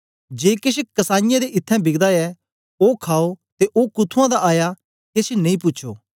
जे केछ कसाईयें दे इत्थैं बिकदा ऐ ओ खाओ ते ओ कुथुआं दा आया केछ नेई पूछो